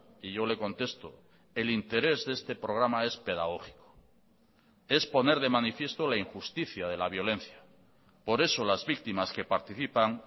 y yo le contesto el interés de este programa es pedagógico es poner de manifiesto la injusticia de la violencia por eso las víctimas que participan